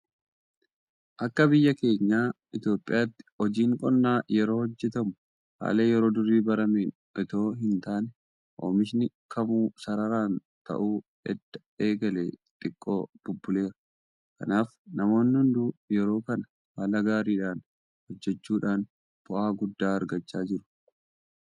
Akka biyya keenya Itoophiyaatti hojiin qonnaa yeroo hojjetamu haala yeroo durii barameen itoo hin taane oomishni kamuu sararaan ta'uu edda eegalee xiqqoo bubbuleera. Kanaaf namoonni hunduu yeroo kana haala gaariidhaan hojjechuudhaan bu'aa guddaa argachaa jiru.